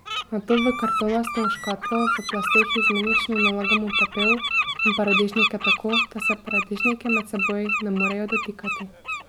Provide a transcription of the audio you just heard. Nato v kartonasto škatlo v plasteh izmenično nalagamo pepel in paradižnike tako, da se paradižniki med seboj ne morejo dotikati.